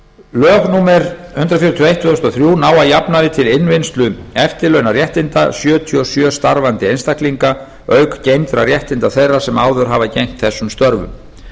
lög númer hundrað fjörutíu og eitt tvö þúsund og þrjú ná að jafnaði til innvinnslu eftirlaunaréttinda sjötíu og sjö starfandi einstaklinga auk geymdra réttinda þeirra sem áður hafa gegnt þessum störfum